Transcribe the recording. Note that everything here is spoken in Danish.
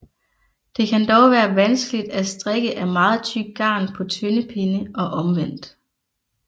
Det kan dog være vanskeligt at strikke af meget tykt garn på tynde pinde og omvendt